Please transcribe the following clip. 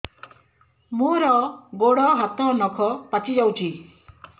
ମୋର ଗୋଡ଼ ହାତ ନଖ ପାଚି ଯାଉଛି